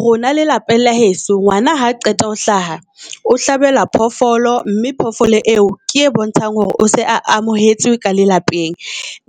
Rona le lapeng la heso ngwana ha qeta ho hlaha o hlabelwa phofolo, mme phofolo eo ke e bontshang hore o se amohetse ka le lapeng.